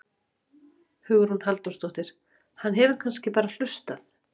Hugrún Halldórsdóttir: Hann hefur kannski bara hlustað?